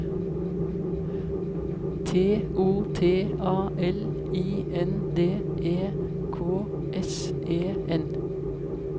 T O T A L I N D E K S E N